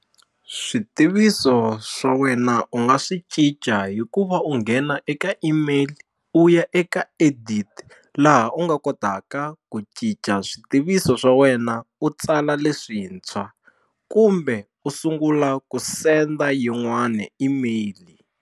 Switiviso swa wena u nga swi cinca hikuva u nghena eka Email u ya eka edit laha u nga kotaka ku cinca swi tiviso swa wena u tsala leswintshwa kumbe u sungula ku senda yin'wani Email.